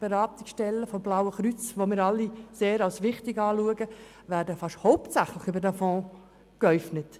Zum Beispiel werden die Beratungsstellen des Blauen Kreuzes, das wir alle als wichtig ansehen, fast hauptsächlich aus diesem Fonds gespeist.